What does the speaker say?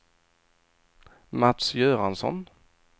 Mats Göransson